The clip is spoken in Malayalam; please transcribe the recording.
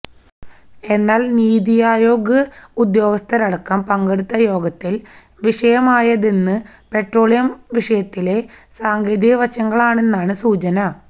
എന്നാല് നീതി ആയോഗ് ഉദ്യോഗസ്ഥരടക്കം പങ്കെടുത്ത യോഗത്തില് വിഷയമായതെന്ന് പെട്രോളിയം വിഷയത്തിലെ സാങ്കേതിക വശങ്ങളാണെന്നാണ് സൂചന